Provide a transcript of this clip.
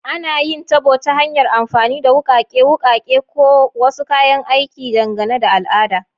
Ana yin tabo ta hanyar amfani da wukake, wukake, ko wasu kayan aikin, dangane da al'ada.